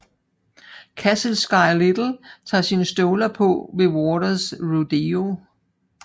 Kassel Sky Little tager sine støvler på ved Waters Rodeo